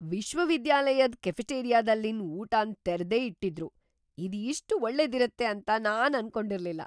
ವಿಶ್ವವಿದ್ಯಾಲಯದ್ ಕೆಫೆಟೇರಿಯಾದಲ್ಲಿನ್ ಉಟಾನ್ ತೆರ್ದೆ ಇಟ್ಟಿದ್ರು. ಇದ್ ಇಷ್ಟ್ ಒಳ್ಳೆದಿರುತ್ತೆ ಅಂತ ನಾನ್ ಅನ್ಕೊಂಡಿರ್ಲಿಲ್ಲ.